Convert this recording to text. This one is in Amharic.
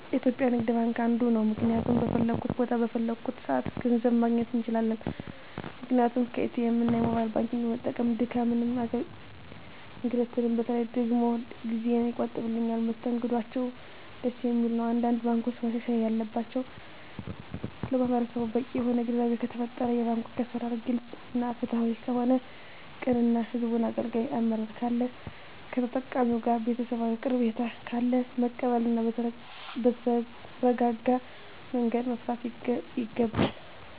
የኢትዩጲያ ንግድባንክ አንዱ ነዉ ምክንያቱም በፈለኩት ቦታ በፈለኩበት ሰአት ገንዘብ ማግኘት እንችላለን ምክንያቱም ኢትኤምእና የሞባይል ባንኪግን በመጠቀም ድካምንም እንግልትም በተለይ ደግሞ ጊዜየን ይቆጥብልኛል መስተንግዶአቸዉም ደስ የሚል ነዉ አንዳንድ ባንኮች ማሻሻል ያለባቸዉ ለማህበረሰቡ በቂ የሆነ ግንዛቤ ከተፈጠረ የባንኮች አሰራር ግልፅ እና ፍትሀዊ ከሆነ ቅን እና ህዝቡን አገልጋይ አመራር ካለ ከተጠቃሚዉ ጋር ቤተሰባዊ ቀረቤታ ካለ መቀበል እና በተረጋጋመንገድ መፍታት ይገባል